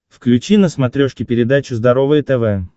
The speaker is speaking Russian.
включи на смотрешке передачу здоровое тв